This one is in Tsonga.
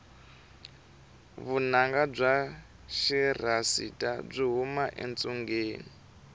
vunanga bya xirhasita byi huma etsungeni